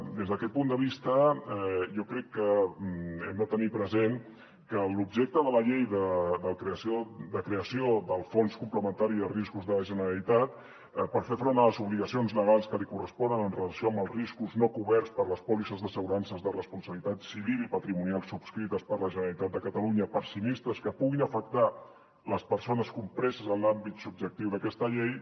des d’aquest punt de vista jo crec que hem de tenir present que l’objecte de la llei de creació del fons complementari de riscos de la generalitat per fer front a les obligacions legals que li corresponen en relació amb els riscos no coberts per les pòlisses d’assegurances de responsabilitat civil i patrimonial subscrites per la generalitat de catalunya per a sinistres que puguin afectar les persones compreses en l’àmbit subjectiu d’aquesta llei